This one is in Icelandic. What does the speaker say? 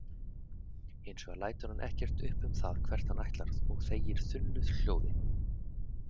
Hins vegar lætur hann ekkert upp um það hvert hann ætlar og þegir þunnu hljóði.